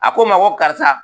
A ko n ma ko karisa